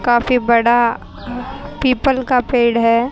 काफी बड़ा पीपल का पेड़ है।